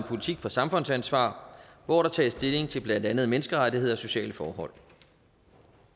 politik for samfundsansvar hvor der tages stilling til blandt andet menneskerettigheder og sociale forhold